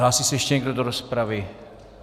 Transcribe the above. Hlásí se ještě někdo do rozpravy?